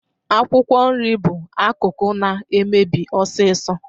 Akwụkwọ nri bụ akụkụ na-emebi ọsịsọ